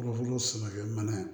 mana ye